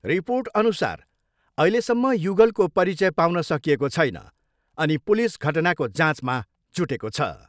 रिर्पोटअनुसार अहिलेसम्म युगलको परिचय पाउन सकिएको छैन अनि पुलिस घटनाको जाँचमा जुटेको छ।